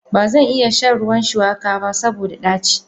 Bazan iya shan ruwan shuwaka ba saboda daci.